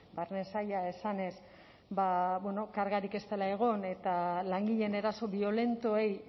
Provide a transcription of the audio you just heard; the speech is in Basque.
barne saila esanez kargarik ez dela egon eta langileen eraso biolentoei